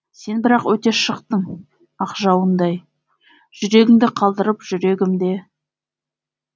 сен бірақ өте шықтың ақ жауындай жүрегіңді қалдырып жүрегімде